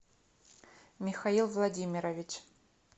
михаил владимирович